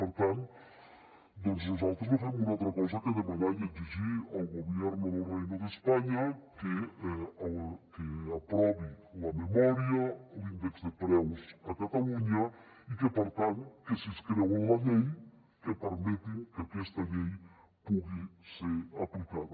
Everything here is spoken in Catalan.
per tant nosaltres no fem una altra cosa que demanar i exigir al gobierno del reino de españa que aprovi la memòria l’índex de preus a catalunya i que per tant si es creuen la llei que permetin que aquesta llei pugui ser aplicada